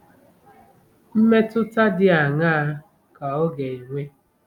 Mmetụta dị aṅaa ka ọ ga-enwe?